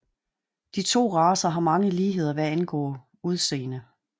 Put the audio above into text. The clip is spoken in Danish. De to racer har mange ligheder hvad angår udseende